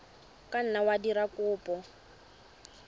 ka nna wa dira kopo